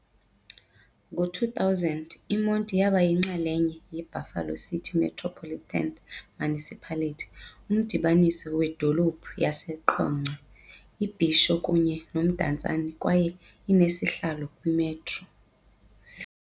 Ngo-2000, iMonti yaba yinxalenye yeBuffalo City Metropolitan Municipality, umdibaniso wedolophu yaseQonce, iBhisho kunye noMdantsane kwaye inesihlalo kwi-Metro.